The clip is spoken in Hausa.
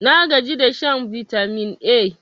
nagaji da shan bitamin A